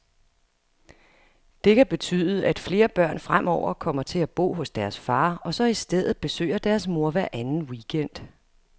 Det kan betyde, at flere børn fremover kommer til at bo hos deres far, og så i stedet besøger deres mor hver anden weekend.